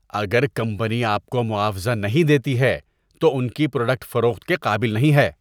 اگر کمپنی آپ کو معاوضہ نہیں دیتی ہے تو ان کی پروڈکٹ فروخت کے قابل نہیں ہے۔